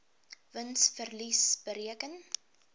wins verlies bereken